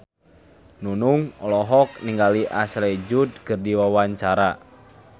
Nunung olohok ningali Ashley Judd keur diwawancara